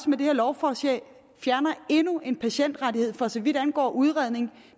med det her lovforslag fjerner endnu en patientrettighed for så vidt angår udredning